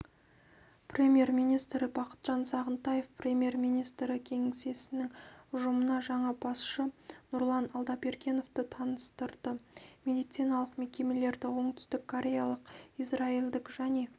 премьер-министрі бақытжан сағынтаев премьер-министрі кеңсесінің ұжымына жаңа басшы нұрлан алдабергеновты таныстырды медициналық мекемелерді оңтүстіккореялық израильдік және